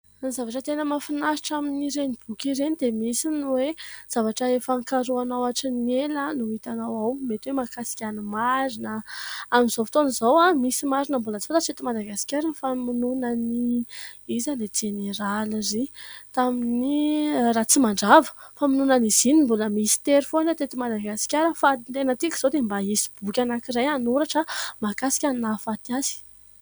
Ny zavatra tena mahafinaritra amin'ireny boky ireny dia misy ny hoe zavatra efa nokarohinao hatry ny ela no itanao ao. Mety hoe mahakasika ny marina. Amin'izao fotoana izao, misy marina mbola tsy fantatra eto Madagasikara. Ny famonoana an'i ... Iza ilay jeneraly iry ? Tamin'i Ratsimandrava ! Ny famonoana an'izy iny mbola mistery foana teto Madagasikara. faitenatiaka izao dia mba hisy boky anankiray hanoratra mahakasika ny nahafaty azy.